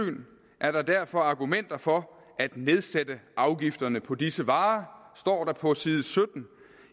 er der derfor argumenter for at nedsætte afgifterne på disse varer står der på side sytten